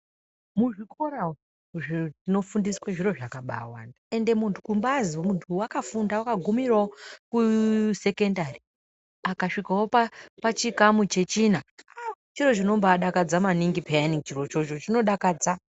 Muzvikora umu zviro zvinofundiswa zviro zvakabawanda ende kuzi munthu wakafunda wakaguma kuchikamu chechina chiro chinodakadza maningi chirocho chinodakadza.